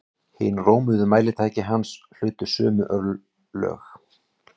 Hin rómuðu mælitæki hans hlutu sömu örlög.